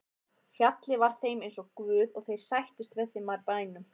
Fjallið var þeim eins og guð og þeir sættust við það með bænum.